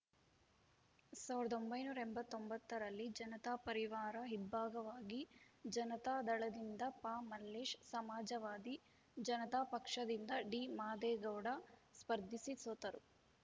ಸಾವಿರದ ಒಂಬೈನೂರ ಎಂಬತ್ತ್ ಒಂಬತ್ತ ರಲ್ಲಿ ಜನತಾ ಪರಿವಾರ ಇಬ್ಭಾಗವಾಗಿ ಜನತಾದಳದಿಂದ ಪಮಲ್ಲೇಶ್‌ ಸಮಾಜವಾದಿ ಜನತಾಪಕ್ಷದಿಂದ ಡಿಮಾದೇಗೌಡ ಸ್ಪರ್ಧಿಸಿ ಸೋತರು